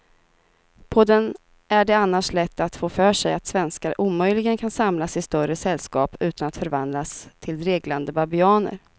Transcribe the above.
På den är det annars lätt att få för sig att svenskar omöjligen kan samlas i större sällskap utan att förvandlas till dreglande babianer.